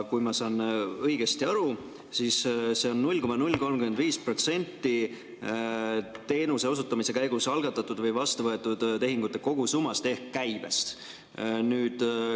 Kui ma saan õigesti aru, siis see on 0,035% teenuse osutamise käigus algatatud või vastu võetud tehingute kogusummast ehk käibest.